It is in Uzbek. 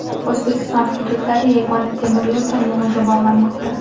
O‘zbekiston hududlari yagona temir yo‘l tarmog‘iga bog‘lanmoqda.